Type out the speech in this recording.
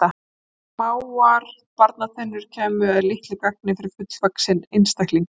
Smáar barnatennur kæmu að litlu gagni fyrir fullvaxinn einstakling.